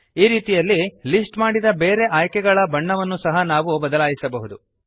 ಈ ರೀತಿಯಲ್ಲಿ ಲಿಸ್ಟ್ ಮಾಡಿದ ಬೇರೆ ಆಯ್ಕೆಗಳ ಬಣ್ಣವನ್ನು ಸಹ ನಾವು ಬದಲಾಯಿಸಬಹುದು